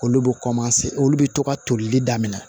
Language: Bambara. Olu bɛ olu bɛ to ka tolili daminɛ